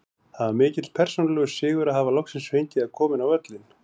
Það var mikill persónulegur sigur að hafa loksins fengið að koma inn á völlinn.